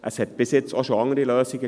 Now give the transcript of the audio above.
Es gab bisher auch andere Lösung.